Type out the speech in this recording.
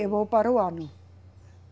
Eu vou para o ano.